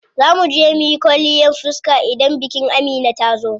Zaa muje muyi kwalliyan fiska idan bikin Amina yazo.